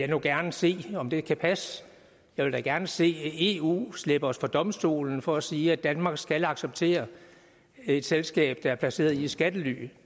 nu gerne se om det kan passe jeg vil da gerne se eu slæbe os for domstolen for at sige at danmark skal acceptere et selskab der er placeret i et skattely